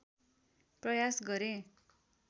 प्रयास गरेँ